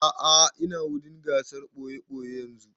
A'a ina wurin gasar ɓoye-ɓoye yanzun